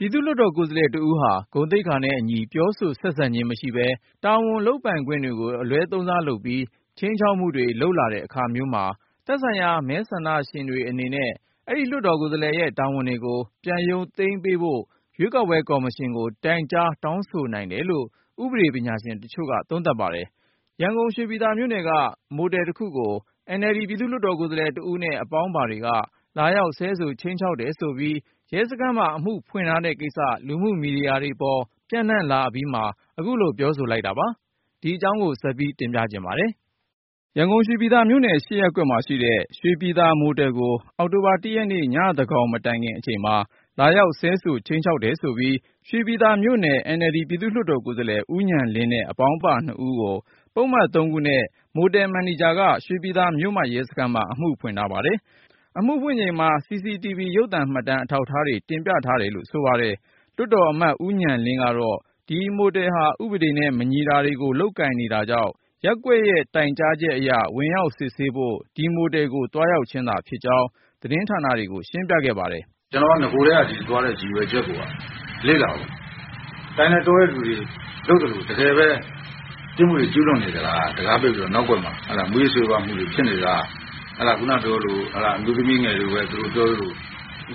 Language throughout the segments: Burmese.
ပြည်သူ့လွှတ်တော်ကိုယ်စားလှယ်တဦးဟာ ဂုဏ်သိက္ခာနဲ့အညီ ပြောဆိုဆက်ခံခြင်းမရှိဘဲ၊ တာဝန် လုပ်ပိုင်ခွင့်တွေကို အလွဲသုံးစားလုပ်ပြီး ခြိမ်းခြောက်မှုတွေ လုပ်လာတဲ့အခါမျိုးမှာ သက်ဆိုင်ရာ မဲဆန္ဒရှင်တွေအနေနဲ့ အဲဒီလွှတ်တော်ကိုယ်စားလှယ်ရဲ့ တာဝန်တွေကို ပြန်ရုပ်သိမ်းပေး ဖို့ ရွေးကောက်ပွဲကော်မရှင်ကို တိုင်ကြား တောင်းဆိုနိုင်တယ်လို့ ဥပဒေပညာရှင်တချို့ က သုံးသပ်ပါတယ်။ ရန်ကုန် ရွှေပြည်သာမြို့နယ်က မိုတယ်တခုကို NLD ပြည်သူ့လွှတ်တော် ကိုယ်စားလှယ်တဦးနဲ့ အပေါင်းအပါတွေက လာရောက် ဆဲဆိုခြိမ်းခြောက် တယ်ဆိုပြီး ရဲစခန်းမှာ အမှု ဖွင့်ထားတဲ့ကိစ္စ လူမှုမီဒီယာတွေပေါ် ပျံ့နှံ့လာအပြီး အခုလို ပြောဆိုလိုက်တာပါ။ အကြောင်းစုံကို ကိုဉာဏ်ဝင်းအောင်က တင်ပြပါမယ်။ ရန်ကုန် ရွှေပြည်သာမြို့နယ် ၈ ရပ်ကွက်မှာရှိတဲ့ ရွှေပြည်သာမိုတယ်ကို အောက်တိုဘာလ ၁ ရက်နေ့ ညသန်းခေါင်မတိုင်ခင်အချိန် လာရောက် ဆဲဆို ခြိမ်းခြောက်တယ်ဆိုပြီး ရွှေပြည်သာမြို့နယ် NLD ပြည်သူ့လွှတ်တော်ကိုယ်စားလှယ် ဦးဉာဏ်လင်းနဲ့ အပေါင်းပါနှစ်ဦးကို၊ ပုဒ်မ ၃ ခုနဲ့ မိုတယ်မန်နေဂျာက ရွှေပြည်သာမြို့မရဲစခန်းမှာ အမှုဖွင့်ထားပါတယ်။ အမှုဖွင့်ချိန်မှာ CCTV ရုပ်သံမှတ်တမ်း အထောက်ထားတွေ တင်ပြထားတယ်လို့ ဆိုပါတယ်။ လွှတ်တော်အမတ် ဦးဉာဏ်လင်းကတော့ ဒီမိုတယ်ဟာ ဥပဒေနဲ့ မညီတာတွေကို လုပ်ကိုင်နေတာကြောင့် ရပ်ကွက်က တိုင်ကြားထားလို့ ဝင်ရောက်စစ်ဆေးဖို့ အဲဒီမိုတယ်ကို သွားရောက်ခြင်းသာဖြစ်ကြောင်း သတင်းဌာနတွေကို ရှင်းပြခဲ့ပါတယ်။ “ကျနော် နဂိုကတည်းက ဒီကိုသွားတဲ့ ရည်ရွယ်ချက်ကိုက လေ့လာဖို့၊ တိုင်တဲ့တောတဲ့ သူတွေ လုပ်သလို တကယ်ပဲ ပြစ်မှုတွေ ကျူးလွန်နေသလား၊ တံခါးပိတ်ပြီးတော့ နောက်ကွယ်မှာ မူးယစ်ဆေးဝါးမှုတွေ ဖြစ်နေသလား။ ခုနပြောသလို အမျိုးသမီးငယ်တွေကိုလည်း သူတို့ပြောသလို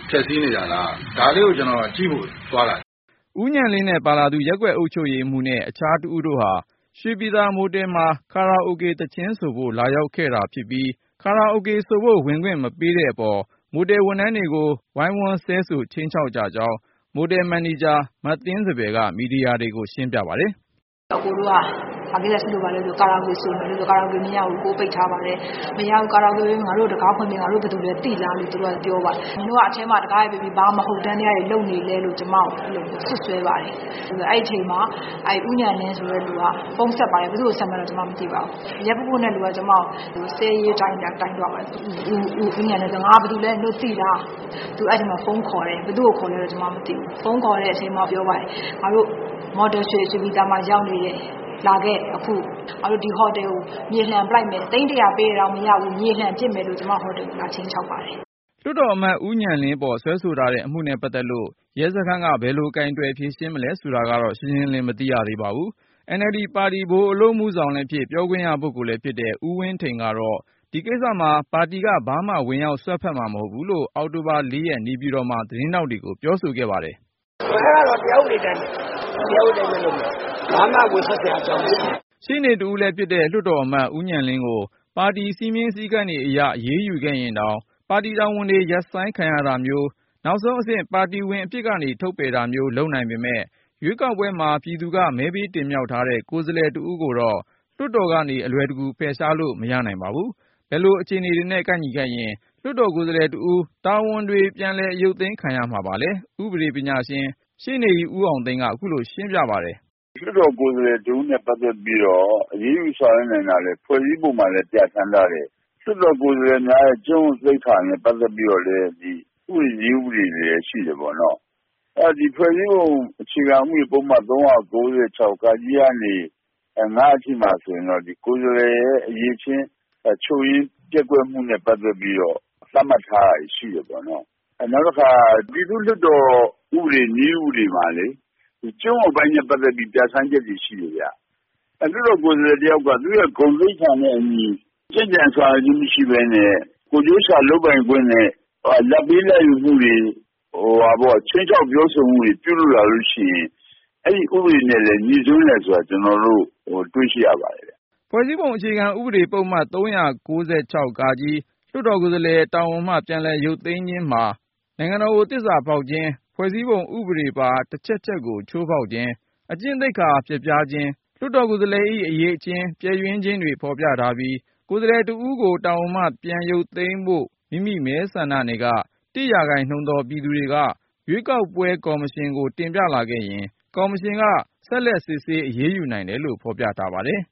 ဖျက်ဆီးနေတာလား။ ဒါလေးကို ကျနော် ကြည့်ဖို့သွားတာ။” ဦးဉာဏ်လင်းနဲ့ပါလာသူ ရပ်ကွက်အုပ်ချုပ်ရေးမှူးနဲ့ အခြားတဦးတို့ဟာ ရွှေပြည်သာ မိုတယ်မှာ ကာရာအိုကေ သီချင်းဆိုဖို့ လာရောက်ခဲ့တာဖြစ်ပြီး၊ ကာရာအိုဆိုဖို့ ဝင်ခွင့်မပေးတဲ့အပေါ် မိုတယ်ဝန်ထမ်းတွေကို ဝိုင်းဝန်းဆဲဆို ခြိမ်းခြောက်ကြကြောင်း မိုတယ်မန်နေဂျာ မသင်းစံပယ်က မီဒီယာတွေကို ရှင်းပြပါတယ်။ “အကိုတို့က ဘာကိစ္စရှိလို့ပါလဲမေးတော့ ကာရာအိုကေဆိုမယ်လို့ပြောတာနဲ့ ကာရာ အိုကေမရဘူးအကို၊ ပိတ်ထားပါတယ်။ မရဘူး ငါတို့ကို တံခါးဖွင့်ပေး၊ ငါတို့ ဘယ်သူလဲ သိလားလို့ သူတို့က ပြောပါတယ်။ နင်တို့က အထဲမှာ တံခါးတွေပိတ်ပြီး ဘာမဟုတ်တန်းတွေ လုပ်နေလဲလို့ ကျမကို အဲလိုမျိုး စွပ်စွဲပါတယ်။ အဲဒီအချိန်မှာ ဦးဉာဏ်လင်းဆိုတဲ့လူက ဖုန်းဆက်ပါတယ်။ ဘယ်သူ့ကို ဆက်မှန်းမသိပါဘူး။ အရပ်ပုပုနဲ့လူက ကျမကို ဆဲရေးတိုင်းထွာ ပြောဆိုပါတယ်။ ဦးဉာဏ်လင်း ဆိုတဲ့ လူကလည်း ငါ ဘယ်သူလဲ နင်တို့သိလား သူ အဲ့အချိန်မှာ ဖုန်းခေါ်တယ်။ ဘယ်သူ့ကိုခေါ်လဲတော့ ကျမမသိဘူး။ ဖုန်းခေါ်တဲ့အချိန်မှာ ပြောပါတယ်။ ငါတို့ ရွှေပြည်သာမိုတယ်မှာ ရောက်နေတယ်။ လာခဲ့ အခု။ ငါတို့ ဒီ ဟိုတယ်ကို မြေလှန်ပစ်လိုက်မယ်။ သိန်း ၁၀၀ ပေးရင်တောင် မရဘူး။ မြေလှန် ပစ်လိုက်မယ်လို့ ကျမဟိုတယ်ကို လာခြိမ်းခြောက်ပါတယ်။” လွှတ်တော်အမတ် ဦးဉာဏ်လင်းပေါ် စွဲဆိုထားတဲ့ အမှုနဲ့ပတ်သက်လို့ ရဲစခန်းက ဘယ်လို ကိုင်တွယ်ဖြေရှင်းမလဲ ဆိုတာကတော့ ရှင်းရှင်းလင်းလင်း မသိရသေး ပါဘူး။ NLD ပါတီ ဗဟိုအလုပ်မှုဆောင်လည်းဖြစ် ပြောခွင့်ရလည်းဖြစ်တဲ့ ဦးဝင်းထိန်ကတော့ ဒီကိစ္စမှာ ပါတီက ဘာမှ ဝင်ရောက် စွက်ဖက်မှာ မဟုတ်ဘူး လို့ အောက်တိုဘာ ၄ ရက် နေပြည်တော်မှာ သတင်းထောက်တွေကို ပြောခဲ့ပါတယ်။ “အဲဒါကတော့ တရားဥပဒေအတိုင်းပဲ။ တရားဥပဒေအတိုင်းပဲ လုပ်မယ်။ ဘာမှ ဝင်စွက်စရာ အကြောင်းမရှိဘူး။” ရှေ့နေတဦးလည်းဖြစ်တဲ့ လွှတ်တော်အမတ် ဦးဉာဏ်လင်းကို ပါတီစည်းမျဉ်းစည်းကမ်းတွေအရ အရေးယူခဲ့ရင်တောင် ပါတီတာဝန်တွေ ရပ် ဆိုင်းခံရတာမျိုး၊ နောက်ဆုံး ပါတီဝင်အဖြစ်ကနေ ထုတ်ပယ်တာမျိုး လုပ်နိုင်ပေမယ့်၊ ရွေးကောက်ပွဲမှာ ပြည်သူက မဲပေးတင်မြှောက်ထားတဲ့ ကိုယ်စားလှယ်တဦးကိုတော့ လွှတ်တော်ကနေ အလွယ်တကူ ဖယ်ရှားလို့ မရနိုင်ပါဘူး။ ဘယ်လိုအခြေအနေတွေနဲ့ ကိုက်ညီခဲ့ရင် လွှတ်တော် ကိုယ်စားလှယ် တာဝန်တွေ ပြန်အရုပ်သိမ်းခံရမှာပါလဲ၊ ဥပဒေပညာရှင် ရှေ့နေကြီး ဦးအောင်သိန်းက ခုလိုရှင်းပြပါတယ်။ “လွှတ်တော်ကိုယ်စားလှယ် တဦးနဲ့ ပတ်သက်ပြီးတော့ အရေးယူဆောင်ရွက်နိုင်တာတွေကို ဖွဲ့စည်းပုံမှာလည်း ပြဌာန်းထားတယ်၊ လွှတ်တော်ကိုယ်စားလှယ်များရဲ့ ကျင့်ဝတ်သိက္ခာနဲ့ ပတ်သက်ပြီးတော့လည်း ဥပဒေ၊ နည်းဥပဒေတွေလည်း ရှိတာပေါ့။ အဲဒီတော့ ဒီ ဖွဲ့စည်းပုံအခြေခံ ဥပဒေပုဒ်မ ၃၉၆ ကနေ အထိမှာဆိုရင်တော့ ကိုယ်စားလှယ်ရဲ့ အရည်အချင်း ချို့ယွင်းပျက်ကွက်မှုနဲ့ ပတ်သက်ပြီးတော့ သတ်မှတ်ထားတာတွေ ရှိတယ်ပေါ့။ နောက်တခါ ပြည်သူ့လွှတ်တော်ဆိုင်ရာ ဥပဒေ/ နည်းဥပဒေမှာ ကျင့်ဝတ်ပိုင်းနဲ့ ပတ်သက်ပြီး ပြဌာန်းချက်တွေ ရှိတယ်ဗျ၊ လွှတ်တော်ကိုယ်စားလှယ် တယောက်က သူ့ရဲ့ဂုဏ်သိက္ခာနဲ့အညီ ကျင့်ကြံဆောင်ရွက်ခြင်း မရှိဘဲနဲ့ ကိုယ်ကျုးိရှာ လုပ်ပိုင်ခွင့်နဲ့ လာဘ်ပေးလာဘ်ယူမှုတွေ၊ ခြိမ်းခြောက်ပြောဆိုမှုတွေ ရှိလာလို့ရှိရင် အဲဒီဥပဒေနဲ့ ငြိစွန်းတယ်ဆိုတာ ကျနော်တို့ တွေ့ရှိရပါတယ်” ဖွဲ့စည်းပုံ အခြေခံဥပဒေပုဒ်မ ၃၉၆ လွှတ်တော်ကိုယ်စားလှယ် တာဝန်မှ ပြည်လည်ရုပ်သိမ်းခြင်းမှာ နိုင်ငံတော်ကို သစ္စာဖေါက်ခြင်း၊ ဖွဲ့စည်း ပုံ ဥပဒေပါ တချက်ချက်ကို ဖေါက်ဖျက်ခြင်း၊ အကျင့်သိက္ခာပျက်ပြားခြင်း၊ လွှတ်တော်ကိုယ်စားလှယ်၏ အရည်အချင်း ပျက်ယွင်းခြင်းတွေ ဖေါ် ပြထားပြီး၊ ကိုယ်စားလှယ်တဦးကို တာဝန်မှ ရုပ်သိမ်းပေးဖို့ မိမိမဲဆန္ဒနယ်က တစ်ရာခိုင်းနှုန်းသော ပြည်သူတွေက ရွေးကောက်ပွဲကော်မရှင် ကို တင်ပြလာခဲ့ရင် ကော်မရှင်က ဆက်လက်စစ်ဆေး အရေးယူနိုင်တယ်လို့ ဖေါ်ပြထားပါတယ်